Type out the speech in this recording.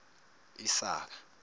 isaka